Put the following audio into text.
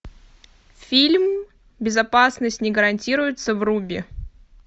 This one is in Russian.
фильм безопасность не гарантируется вруби